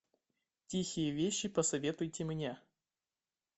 тихие вещи посоветуйте мне